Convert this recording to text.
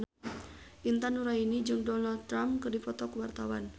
Intan Nuraini jeung Donald Trump keur dipoto ku wartawan